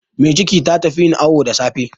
Mai ciki ta tafi yin awu da safe.